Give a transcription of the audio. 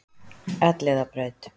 Elliðabraut